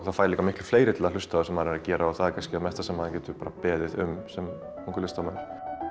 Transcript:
það færi líka miklu fleiri til að hlusta á það sem maður er að gera og það er kannski það mesta sem maður getur beðið um sem ungur listamaður